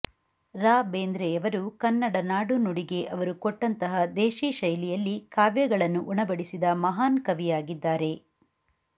ರಾ ಬೇಂದ್ರೆಯವರು ಕನ್ನಡ ನಾಡು ನುಡಿಗೆ ಅವರು ಕೊಟ್ಟಂತಹ ದೇಶೀ ಶೈಲಿಯಲ್ಲಿ ಕಾವ್ಯಗಳನ್ನು ಉಣಬಡಿಸಿದ ಮಹಾನ್ ಕವಿಯಾಗಿದ್ದಾರೆ